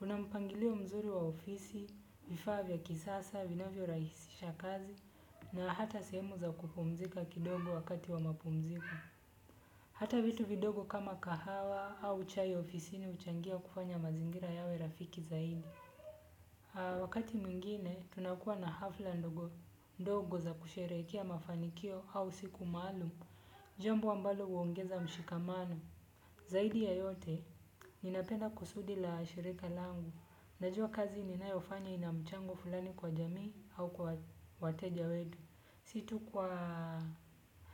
Una mpangilio mzuri wa ofisi, vifaa vya kisasa, vinavyo rahisisha kazi, na hata sehemu za kupumzika kidogo wakati wa mapumziko. Hata vitu vidogo kama kahawa au chai ofisini huchangia kufanya mazingira yawe rafiki zaidi lingine ninalolipenda ni fursa ya kujifunza na kujiendeleza jambo ambalo huongeza mshikamano zaidi ya yote, ninapenda kusudi la shirika langu. Najua kazi ninayofanya ina mchango fulani kwa jamii au kwa wateja wetu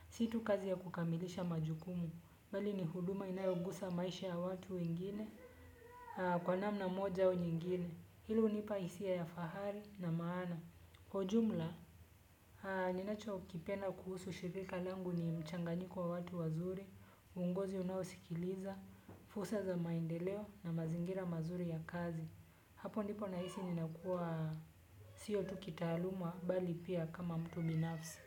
si tu kazi ya kukamilisha majukumu bali ni huduma inayogusa maisha ya watu wengine kwa mamna moja au ingine. Hilo hunipa hisia ya fahari na maana. Kwa ujumla, ninachokipenda kuhusu shirika langu ni mchanganyiko wa watu wazuri, ungozi unaosikiliza, fursa za maendeleo na mazingira mazuri ya kazi. Hapo ndipo nahisi ninakuwa sio tu kitaaluma bali pia kama mtu binafsi.